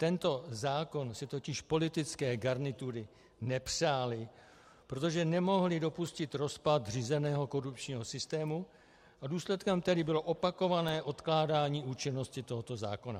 Tento zákon si totiž politické garnitury nepřály, protože nemohly dopustit rozpad řízeného korupčního systému, a důsledkem tedy bylo opakované odkládání účinnosti tohoto zákona.